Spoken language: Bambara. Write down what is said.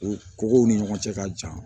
U kow ni ɲɔgɔn cɛ ka jan